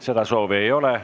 Seda soovi ei ole.